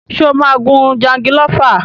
Ṣé o máa gun jangilófà?